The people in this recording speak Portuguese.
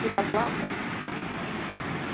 Tirei a placa.